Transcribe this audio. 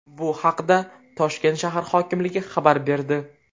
Bu haqda Toshkent shahar hokimligi xabar berdi .